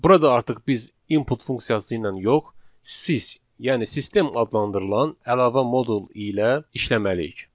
Burada artıq biz input funksiyası ilə yox, sys, yəni sistem adlandırılan əlavə modul ilə işləməliyik.